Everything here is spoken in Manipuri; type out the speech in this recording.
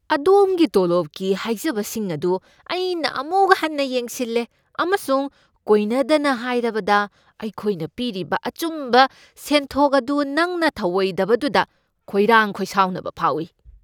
ꯑꯗꯣꯝꯒꯤ ꯇꯣꯂꯣꯞꯀꯤ ꯍꯥꯏꯖꯕꯁꯤꯡ ꯑꯗꯨ ꯑꯩꯅ ꯑꯃꯨꯛ ꯍꯟꯅ ꯌꯦꯡꯁꯤꯟꯂꯦ, ꯑꯃꯁꯨꯡ ꯀꯣꯏꯅꯗꯅ ꯍꯥꯏꯔꯕꯗ, ꯑꯩꯈꯣꯏꯅ ꯄꯤꯔꯤꯕ ꯑꯆꯨꯝꯕ ꯁꯦꯟꯊꯣꯛ ꯑꯗꯨ ꯅꯪꯅ ꯊꯧꯑꯣꯏꯗꯕꯗꯨꯗ ꯈꯣꯏꯔꯥꯡ ꯈꯣꯏꯁꯥꯎꯅꯕ ꯐꯥꯎꯏ ꯫